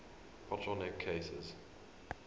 bottle neck cases